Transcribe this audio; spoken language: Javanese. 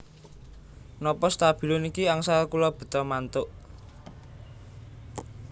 Nopo stabilo niki angsal kula beta mantuk?